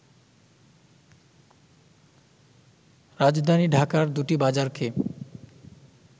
রাজধানী ঢাকার দুটি বাজারকে